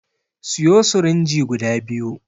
Siyo sirinji guda biyu